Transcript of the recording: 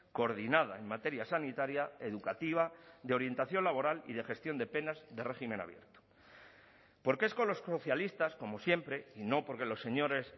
coordinada en materia sanitaria educativa de orientación laboral y de gestión de penas de régimen abierto porque es con los socialistas como siempre y no porque los señores